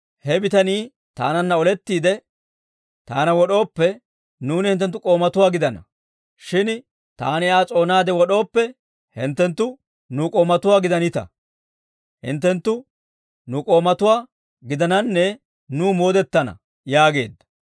He bitanii taananna olettiide taana wod'ooppe, nuuni hinttenttu k'oomatuwaa gidana; shin taani Aa s'oonaade wod'ooppe hinttenttu nu k'oomatuwaa gidananne nuw moodetana» yaageedda.